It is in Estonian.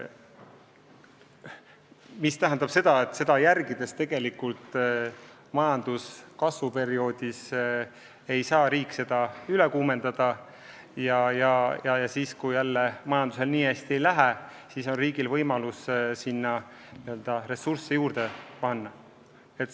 Selle järgimise korral ei saa riik majanduse kasvuperioodis majandust üle kuumendada ja kui majandusel väga hästi ei lähe, on riigil võimalus sinna ressursse juurde panna.